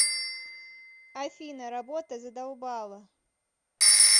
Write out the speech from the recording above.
афина работа задолбала